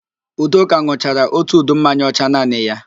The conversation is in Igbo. Udoka n̄ụchara ótù udu mmanya ọcha naanị ya